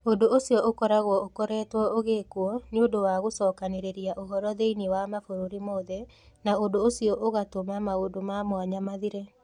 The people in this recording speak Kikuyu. Ũndũ ũcio ũkoragwo ũkoretwo ũgĩkwo nĩ ũndũ wa gũcokanĩrĩria ũhoro thĩinĩ wa mabũrũri mothe, na ũndũ ũcio ũgatũma maũndũ ma mwanya mathire.